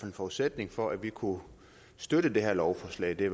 en forudsætning for at vi kunne støtte det her lovforslag i